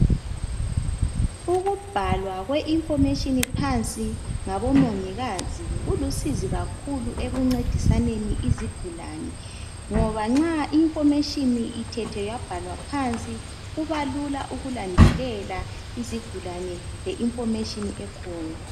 Ukubhalwa kwe information phansi ngabomongikazi kulisizo kakhulu ekuncedisaneni izigulani ngoba nxa I information ithethwe yabhalwa phansi kuba lula ukulandelela izigulani nge information ekhona